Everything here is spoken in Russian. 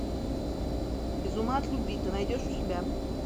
без ума от любви ты найдешь у себя